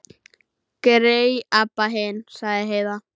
Grey Abba hin, sagði Heiða.